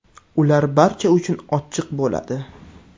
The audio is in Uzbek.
Ular barcha uchun ochiq bo‘ladi.